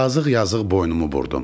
Yazıq-yazıq boynumu burdum.